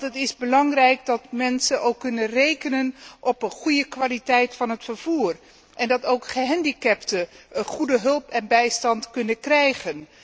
Het is immers belangrijk dat mensen kunnen rekenen op een goede kwaliteit van het vervoer en dat ook gehandicapten goede hulp en bijstand kunnen krijgen.